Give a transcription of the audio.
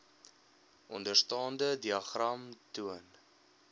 onderstaande diagram toon